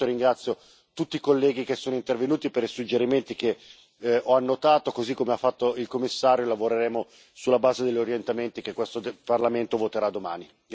Per il momento ringrazio tutti i colleghi che sono intervenuti per i suggerimenti che ho annotato, così come ha fatto il Commissario, e lavoreremo sulla base degli orientamenti che questo Parlamento voterà domani.